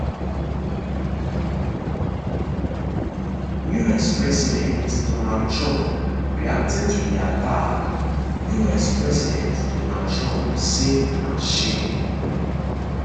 us president donald trump reacting to di attack us president donald trump say na shame